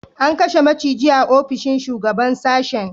An kashe maciji a ofishin shugaban sashen